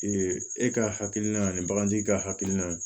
e ka hakilina ye ani bagantigi ka hakilina ye